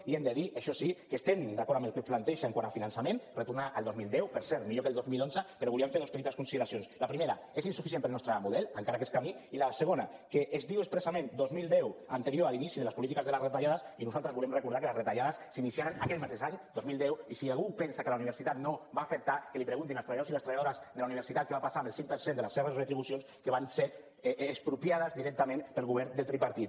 i hem de dir això sí que estem d’acord amb el que plantegen quant a finançament retornar al dos mil deu per cert millor que al dos mil onze però volíem fer dos petites consideracions la primera és insuficient per al nostre model encara aquest camí i la segona que es diu expressament dos mil deu anterior a l’inici de les polítiques de les retallades i nosaltres volem recordar que les retallades s’iniciaren aquell mateix any dos mil deu i si algú pensa que a la universitat no va afectar que l’hi preguntin als treballadors i les treballadores de la universitat què va passar amb el cinc per cent de les seves retribucions que van ser expropiades directament pel govern del tripartit